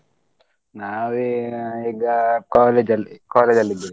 ನಾವ್ ಈಗ ಈಗ college ಅಲ್ಲಿ college ಅಲ್ ಇದ್ದೀವಿ.